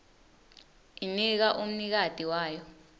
inika umnikati wayo